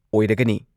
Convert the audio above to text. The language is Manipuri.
ꯑꯣꯏꯔꯒꯅꯤ ꯫